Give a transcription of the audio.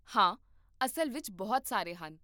ਹਾਂ, ਅਸਲ ਵਿੱਚ ਬਹੁਤ ਸਾਰੇ ਹਨ